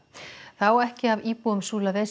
það á ekki af íbúum